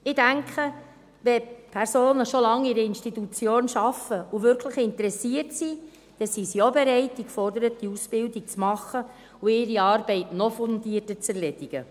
Ich denke, wenn Personen schon lange in einer Institution arbeiten und wirklich interessiert sind, dann sind sie auch bereit, die geforderte Ausbildung zu machen und ihre Arbeit noch fundierter zu erledigen.